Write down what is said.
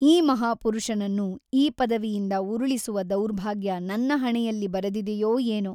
ಈ ಮಹಾಪುರುಷನನ್ನು ಈ ಪದವಿಯಿಂದ ಉರುಳಿಸುವ ದೌರ್ಭಾಗ್ಯ ನನ್ನ ಹಣೆಯಲ್ಲಿ ಬರೆದಿದೆಯೋ ಏನೋ?